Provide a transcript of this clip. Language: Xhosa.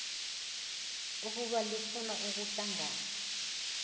ukuba lifuna ukuhlangana